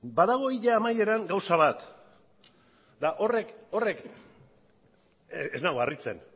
badago hila amaieran gauza bat eta horrek ez nau harritzen